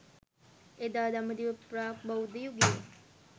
එදා දඹදිව ප්‍රාග් බෞද්ධ යුගයේ